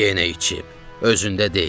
Yenə içib, özündə deyil.